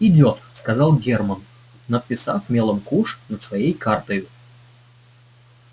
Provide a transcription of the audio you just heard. идёт сказал германн надписав мелом куш над своей картою